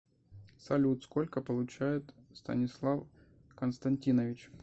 салют сколько получает станислав константинович